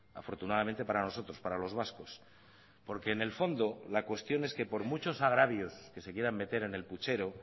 afortunadamente para nosotros para los vascos porque en el fondo la cuestión es que por muchos agravios que se quieran meter en el puchero